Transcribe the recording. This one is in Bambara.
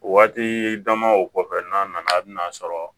Waati dama o kɔfɛ n'a nana a bina sɔrɔ